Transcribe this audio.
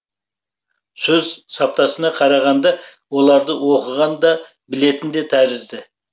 сөз саптасына қарағанда оларды оқыған да білетін де тәрізді